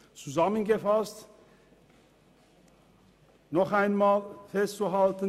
Zusammengefasst ist noch einmal festzuhalten: